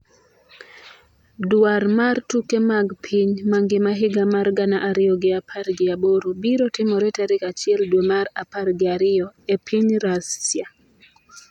Dwar mar tuke mag piny mangima higa mar gana ariyo gi apar gi aboro biro timore tarik achiel dwe mar apar gi ariyo e piny Russia